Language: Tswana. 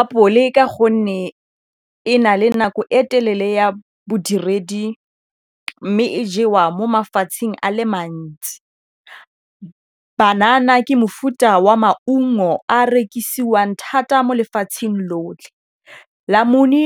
Apole ka gonne e na le nako e telele ya bodiredi mme e jewa mo mafatsheng a le mantsi. Banana ke mofuta wa maungo a rekisiwang thata mo lefatsheng lotlhe. Namune